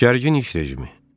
Gərgin iş rejimi.